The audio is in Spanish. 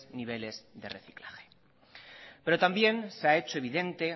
niveles de reciclaje pero también se ha hecho evidente